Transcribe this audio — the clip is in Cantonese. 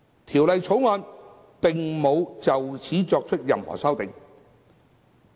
《條例草案》並無就此作出任何修訂。